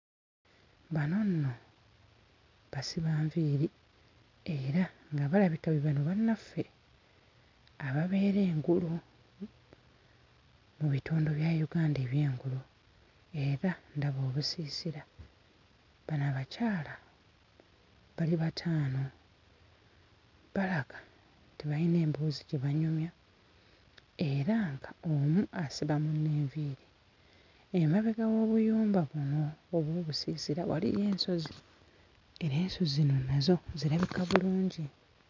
Bano nno basiba nviiri era nga balabika be bano bannaffe ababeera engulu mu bitundu bya Uganda eby'engulu era ndaba obusiisira. Bano abakyala bali bataano, balaga nti bayina emboozi gye banyumya era ng'omu asiba munne enviiri. Emabega w'obuyumba buno obw'obusiisira waliyo ensozi era ensozi zino nazo zirabika bulungi.